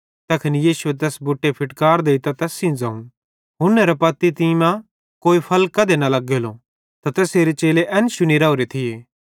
तैखन यीशुए तैस बुटे फिटकार देइतां तैस सेइं ज़ोवं हुन्नेरे पत्ती तीं मां कोई फल कधी न लग्गलो त तैसेरे चेले एन शुनी राओरे थिये